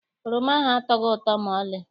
Oroma ahụ atọghị ụtọ maọlị.